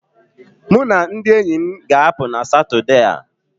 Mụ na ndị enyi m ga-apụ na Satọde a